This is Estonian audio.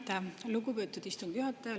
Aitäh, lugupeetud istungi juhataja!